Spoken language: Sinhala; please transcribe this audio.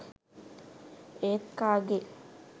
ඒත් කාගේ